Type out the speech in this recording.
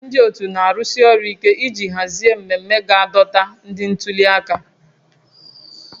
Ndị otu na-arụsi ọrụ ike iji hazie mmemme ga-adọta ndị ntuli aka